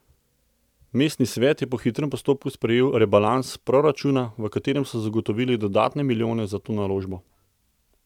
Mestni svet je po hitrem postopku sprejel rebalans proračuna, v katerem so zagotovili dodatne milijone za to naložbo.